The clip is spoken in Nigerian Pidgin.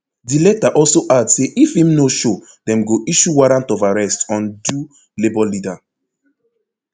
di letter also add say if im no show dem go issue warrant of arrest on do labour leader